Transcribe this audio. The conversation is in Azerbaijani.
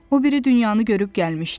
O biri dünyanı görüb gəlmişdi.